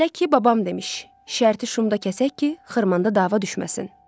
Belə ki, babam demiş, şərti şumda kəsək ki, xırmanda dava düşməsin.